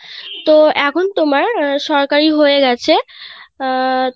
তো এখন তোমার সরকারি হয়ে গেছে আহ,